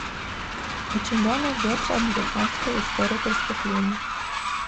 у тебя найдется американская история преступлений